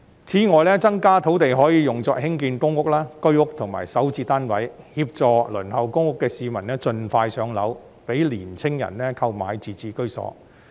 此外，增加土地供應可用作興建公屋、居屋及港人首次置業單位，協助輪候公屋的市民盡快"上樓"，讓年青人購買自置居所。